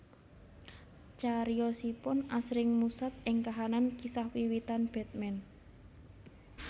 Cariyosipun asring musat ing kahanan kisah wiwitan Batman